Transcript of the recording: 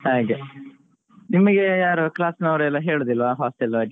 ಹಾಗೆ, ನಿಮಗೆ ಯಾರು class ನವರೆಲ್ಲಾ ಹೇಳುದಿಲ್ವ ಯಾರು hostel ಬಗ್ಗೆ?